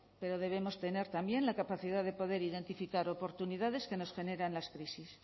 pero debemos tener también la capacidad de poder identificar oportunidades que nos generan las crisis